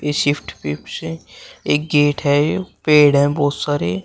ये शिफ्ट पिप से एक गेट है पेड़ है बहुत सारे।